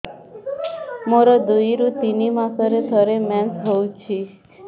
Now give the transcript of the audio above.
ମୋର ଦୁଇରୁ ତିନି ମାସରେ ଥରେ ମେନ୍ସ ହଉଚି